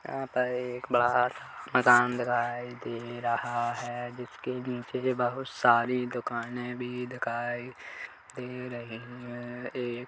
यहाँ पर एक बड़ा सा मैदान दिखाई दे रहा है जिसके पीछे बहुत सारी दुकाने भी दिखाई दे रही है ए--